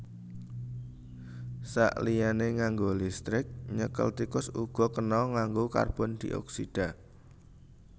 Saliyané nganggo listrik nyekel tikus uga kena nganggo karbondioksida